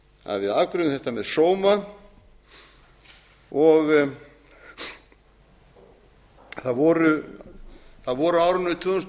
að við afgreiðum þetta með sóma það voru á árinu tvö þúsund